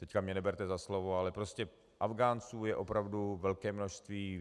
Teď mě neberte za slovo, ale prostě Afghánců je opravdu velké množství.